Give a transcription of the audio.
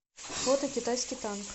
фото китайский танк